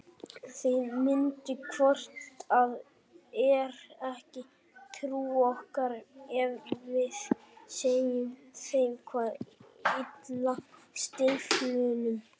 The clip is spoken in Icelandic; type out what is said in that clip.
Þeir myndu hvort eð er ekki trúa okkur ef við segðum þeim hvað ylli stíflunum.